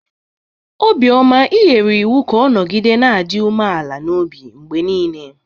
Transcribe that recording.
Obioma i nyere iwu ka ọ nọgide na-adị umeala n'obi mgbe niile!